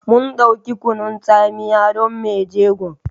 Mun dauki Kunun tsamiya don mai jegon.